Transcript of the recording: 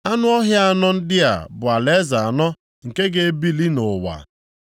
‘Anụ ọhịa anọ ndị a bụ alaeze anọ nke ga-ebili nʼụwa.